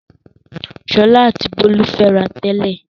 Ṣọlá àti Bólú ń fẹ́ra tẹ́lẹ̀.